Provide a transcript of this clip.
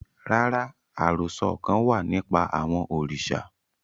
Rara, arosọ kan wa nipa awọn oriṣa